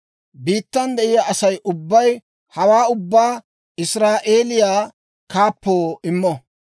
Biittan de'iyaa Asay ubbay hawaa ubbaa Israa'eeliyaa kaappoo immo.